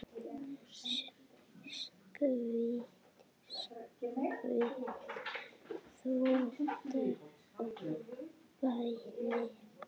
Skvett, skvett, þvottar og bænir.